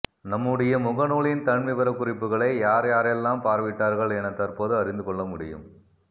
நம்முடைய முகநூலின் தன்விவரகுறிப்புகளை யார்யாரெல்லாம் பார்வையிட்டார்கள் என தற்போது அறிந்து கொள்ளமுடியும்